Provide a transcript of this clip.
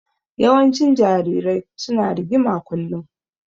Yawancin jarirai su na rigima kullum